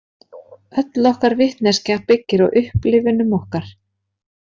Öll okkar vitneskja byggir á upplifunum okkar.